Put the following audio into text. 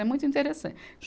É muito interessan